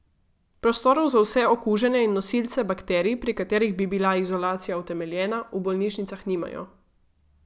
Prostorov za vse okužene in nosilce bakterij, pri katerih bi bila izolacija utemeljena, v bolnišnicah nimajo.